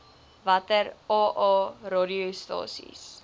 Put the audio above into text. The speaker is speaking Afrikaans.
watter aa radiostasies